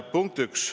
Punkt 1.